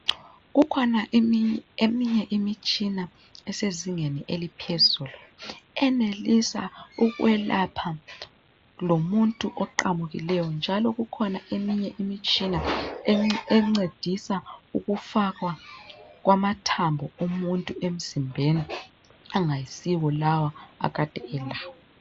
Kukhona eminye imitshina esezingeni eliphezulu enelisa ukwelapha lomuntu oqamukileyo njalo kukhona eminye imitshina encedisa ukufakwa kwamathambo omuntu emzimbeni angayisiwo lawa akade elawo.